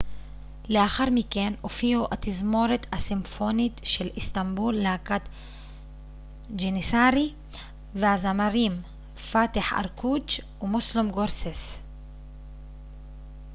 לאחר מכן הופיעו התזמורת הסימפונית של איסטנבול להקת ג'ניסארי והזמרים פאתיח ארקוץ' ומוסלום גורסס